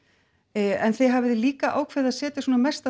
en þið hafið líka ákveðið að setja svona mesta